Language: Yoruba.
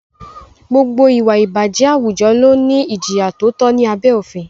Gbogbo ìwà ìbàjẹ́ àwùjọ ló ní ìjìyà tó tọ́ ní abé òfin.